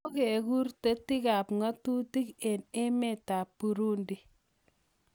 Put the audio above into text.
Kokekur tetiikap ng'atutik eng' emetap Burundi